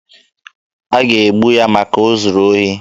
A ga-egbu ya maka na o zuru ohi.